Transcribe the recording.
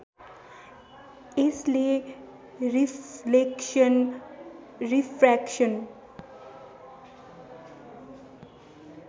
यसले reflection refraction